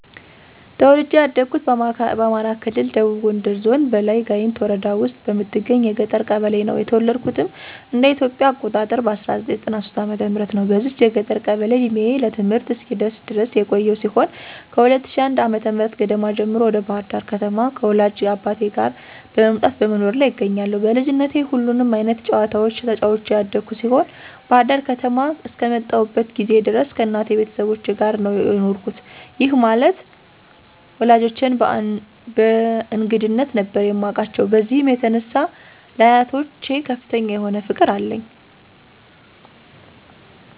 ተወልጄ ያደኩት በአማራ ክልል ደቡብ ጎንደር ዞን በላይ ጋይንት ወረዳ ውስጥ በምትገኝ የገጠር ቀበሌ ነው። የተወለድኩትም እንደ ኢትዮጵያ አቆጣጠር በ1993 ዓ/ም ነው። በዚች የገጠር ቀበሌ እድሜዬ ለትምህርት እስኪደርስ ድረስ የቆየው ሲሆን ከ2001 ዓ/ም ገደማ ጀምሮ ወደ ባህር ዳር ከተማ ከወላጅ አባቴ ጋር መምጣት በመኖር ላይ እገኛለሁ። በልጅነቴ ሁሉንም አይነት ጨዋታዎች ተጫዉቼ ያደኩ ሲሆን ባህር ዳር ከተማ አስከመጣሁበት ጊዜ ድረስ ከእናቴ ቤተሰቦች ጋር ነው የኖርኩት፤ ይህ ማለት ወላጆቼን በእንግድነት ነበር የማቃቸው። በዚህም የተነሳ ለአያቶች ከፍተኛ የሆነ ፍቅር አለኝ።